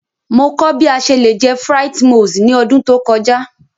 Mo kọ bi a ṣe le jẹ frites moules ni ọdun to kọja.